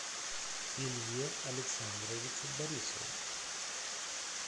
илье александровичу борисову